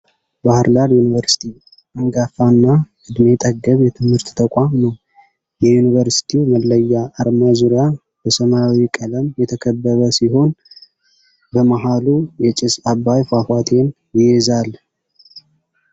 ባህርዳር ዩኒቨርስቲ አንጋፋ እና እድሜ ጠገብ የትምህርት ተቋም ነው። የዩኒቨርስቲው መለያ አርማ ዙሪያ በሰማያዊ ቀለም የተከበበ ሲሆን በመሀሉ የጭስ አባይ ፏፏቴን ይይዛል።